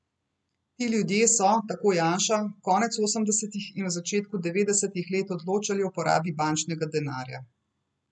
Ti ljudje so, tako Janša, konec osemdesetih in v začetku devetdesetih let odločali o porabi bančnega denarja.